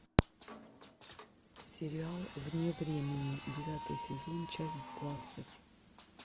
сериал вне времени девятый сезон часть двадцать